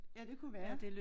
Ja det kunne være